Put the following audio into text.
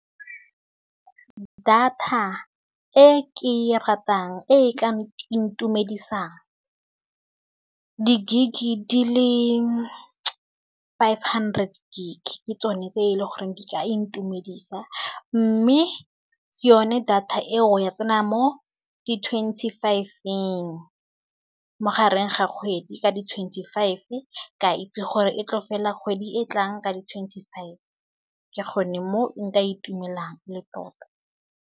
Data e ke ratang e ka intumedisa, di gig dile five hundred gig ke tsone tse e le goreng di ka intumedisa, mme ke yone data eo ya tsena mo di twenty five-ng mo gareng ga kgwedi ka di twenty five, ka a itse gore e tlo fela kgwedi e tlang ka di twenty five ke gone mo nka itumelang le tota.